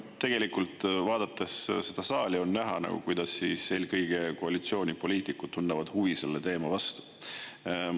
Tegelikult vaadates seda saali, on näha, kuidas eelkõige koalitsioonipoliitikud tunnevad huvi selle teema vastu.